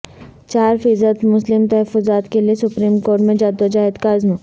چار فیصد مسلم تحفظات کے لیے سپریم کورٹ میں جدوجہد کا عزم